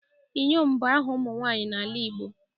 Iyom bu aha umu nwanyi n'ala Igbo